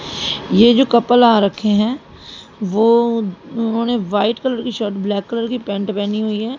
ये जो कपल आ रखे हैं वो उन्होंने व्हाइट कलर की शर्ट ब्लैक कलर की पैंट पहनी हुई है।